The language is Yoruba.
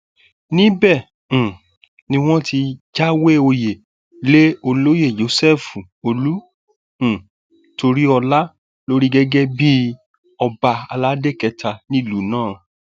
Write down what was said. níbẹ um ni wọn ti jáwé òye lé olóyè joseph olú um toríọlá lórí gẹgẹ bíi ọba aládé kẹta nílùú náà